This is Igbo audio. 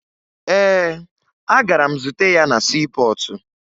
Ee, agara m zute ya na siipọọtụ